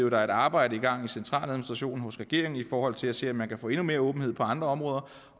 at der er et arbejde i gang i centraladministrationen og regeringen i forhold til at se om man kan få endnu mere åbenhed på andre områder